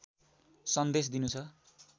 सन्देश दिनु छ